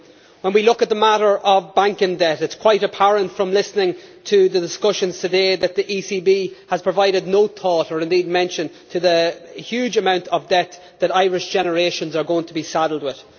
When we look at the matter of banking debt it is quite apparent from listening to the discussions today that the ECB has provided no thought to, or indeed mention of, the huge amount of debt that Irish generations are going to be saddled with.